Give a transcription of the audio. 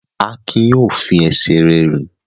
Akin yóò fi ẹsẹ̀ rẹ̀ rìn!